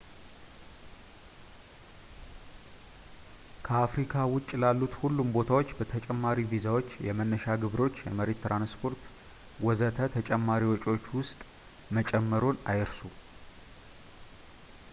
ከአፍሪካ ውጭ ላሉት ሁሉም ቦታዎች ተጨማሪ ቪዛዎች ፣ የመነሻ ግብሮች ፣ የመሬት ትራንስፖርት ፣ ወዘተ ተጨማሪ ወጪዎች ውስጥ መጨመርዎን አይርሱ